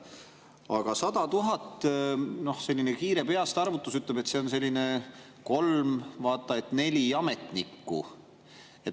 Aga 100 000 – no selline kiire peastarvutus ütleb, et see on kolm või vaat et neli ametnikku.